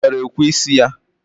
Ngwere ekwe isi ya.